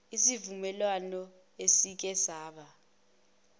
isivumelwano esike saba